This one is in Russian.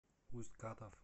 усть катав